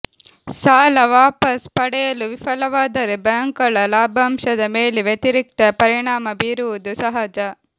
ಸಾಲ ವಾಪಸು ಪಡೆಯಲು ವಿಫಲವಾದರೆ ಬ್ಯಾಂಕ್ಗಳ ಲಾಭಾಂಶದ ಮೇಲೆ ವ್ಯತಿರಿಕ್ತ ಪರಿಣಾಮ ಬೀರುವುದು ಸಹಜ